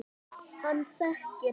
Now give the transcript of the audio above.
Hann þekkir hann.